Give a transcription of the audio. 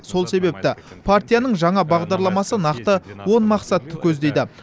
сол себепті партияның жаңа бағдарламасы нақты он мақсатты көздейді